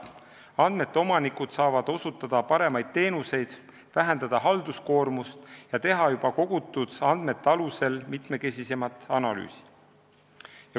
Andmete omanikud saavad osutada paremaid teenuseid, vähendada halduskoormust ja teha juba kogutud andmete alusel mitmekesisemat analüüsi.